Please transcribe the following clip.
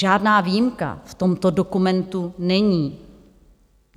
Žádná výjimka v tomto dokumentu není.